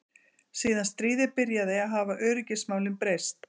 Síðan stríðið byrjaði hafa öryggismálin breyst.